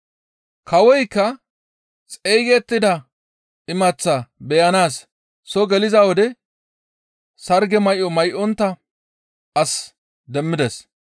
«Kawoykka xeygettida imaththaa beyanaas soo geliza wode sarge may7o may7ontta as demmides.